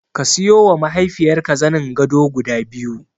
Ka siyowa mahaifiyarka zanin gado guda biyu.